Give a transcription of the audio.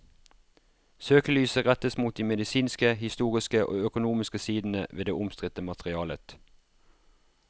Søkelyset rettes mot de medisinske, historiske og økonomiske sidene ved det omstridte materialet.